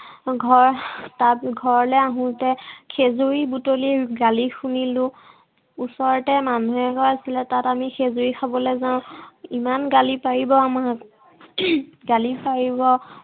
ঘৰত তাত ঘৰলে আহোঁতে খেজুৰী বুটলি গালি শুনিলো। ওচৰতে মানুহ এঘৰ আছিলে তাত আমি খেজুৰী খাবলে যাওঁ। ইমান গালি পাৰিব আমাক। গালি পাৰিব